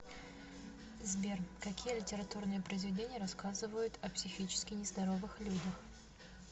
сбер какие литературные произведения рассказывают о психически нездоровых людях